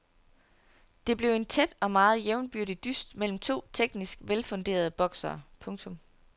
Det blev en tæt og meget jævnbyrdig dyst mellem to teknisk velfunderede boksere. punktum